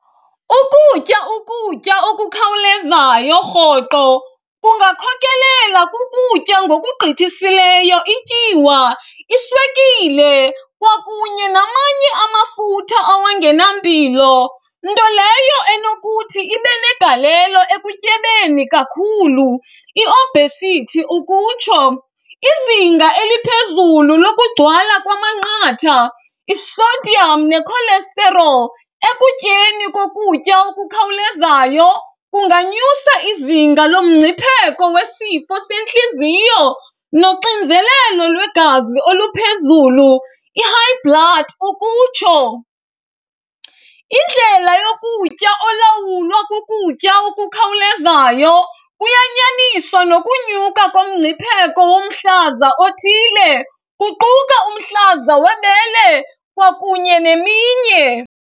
Ukutya ukutya okukhawulezayo rhoqo kungakhokelela kukutya ngokugqithisileyo ityiwa, iswekile kwakunye namanye amafutha awangenampilo, nto leyo enokuthi ibe negalelo ekutyebeni kakhulu, i-obesity ukutsho. Izinga eliphezulu lokugcwala kwamanqatha, i-sodium ne-cholesterol ekutyeni kokutya okukhawulezayo kunganyusa izinga lomngcipheko wesifo sentliziyo noxinzelelo lwegazi oluphezulu, i-high blood ukutsho. Indlela yokutya olawulwa kukutya okukhawulezayo kuyanyaniswa nokunyuka komngcipheko womhlaza othile, kuquka umhlaza webele kwakunye neminye.